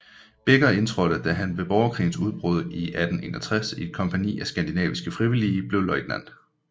Beecher indtrådte han ved borgerkrigens udbrud 1861 i et kompagni af skandinaviske frivillige og blev løjtnant